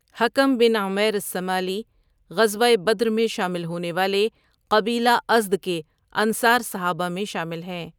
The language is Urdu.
حکم بن عمیر الثمالی غزوہ بدر میں شامل ہونے والے قبیلہ ازد کے انصار صحابہ میں شامل ہیں۔